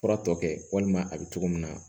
Fura tɔ kɛ walima a bɛ cogo min na